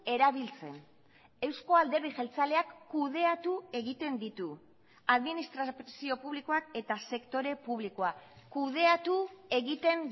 erabiltzen euzko alderdi jeltzaleak kudeatu egiten ditu administrazio publikoak eta sektore publikoak kudeatu egiten